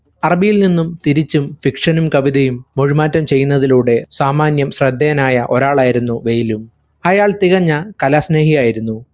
അറബിയിൽനിന്നും തിരിച്ചും fiction ഉം കവിതയും മൊഴിമാറ്റം ചെയ്യുന്നതിലൂടെ സാമാന്യം ശ്രദ്ധേയനായ ഒരാളായിരുന്നു ബേയിൽ. അയാൾ തികഞ കലാസ്നേഹിയായിരുന്നു.